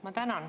Ma tänan.